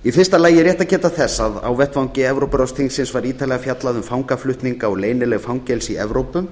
í fyrsta lagi er rétt að geta þess að á vettvangi evrópuráðsþingsins var ítarlega fjallað um fangaflutninga og leynileg fangelsi í evrópu